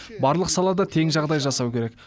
барлық салада тең жағдай жасау керек